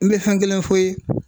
N be fɛn kelen f'o ye